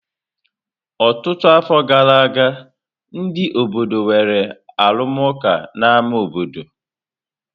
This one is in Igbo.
Ọtụtụ afọ gara aga, ndị obodo nwere arụmụka n'ámá obodo.